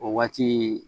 O waati